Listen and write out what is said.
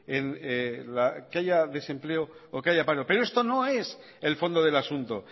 en que haya desempleo o que haya paro pero esto no es el fondo del asunto